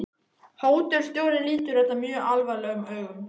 Hótelstjórinn lítur þetta mjög alvarlegum augum.